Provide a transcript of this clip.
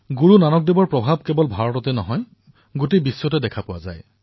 গুৰুনানক দেৱজীৰ প্ৰভাৱ কেৱল ভাৰততেই নহয় সমগ্ৰ বিশ্বতে বিৰাজমান